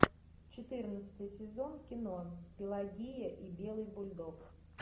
четырнадцатый сезон кино пелагея и белый бульдог